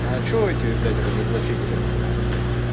а что эти блять разоблачители